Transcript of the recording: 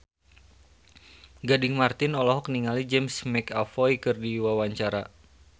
Gading Marten olohok ningali James McAvoy keur diwawancara